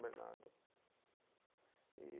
Bernardo. E